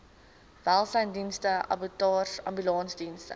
welsynsdienste abattoirs ambulansdienste